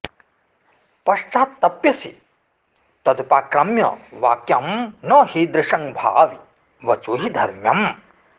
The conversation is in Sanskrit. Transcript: पश्चात्तप्स्यसे तदुपाक्रम्य वाक्यं न हीदृशं भावि वचो हि धर्म्यम्